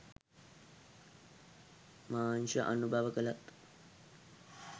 මාංශ අනුභව කළත්